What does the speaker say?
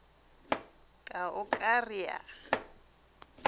ka o ka re a